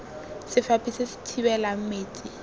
sefaphi se se thibelang metsi